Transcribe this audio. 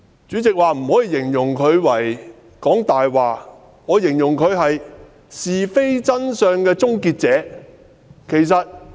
主席說不可形容她是"講大話"，那我形容她為是非真相的終結者。